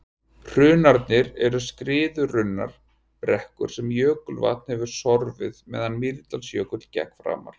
hrunarnir eru skriðurunnar brekkur sem jökulvatn hefur sorfið meðan mýrdalsjökull gekk framar